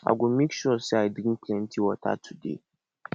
i go make sure sey i drink plenty water today